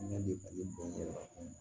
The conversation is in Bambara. Ɲɛ bɛ bali bɔn yɛrɛ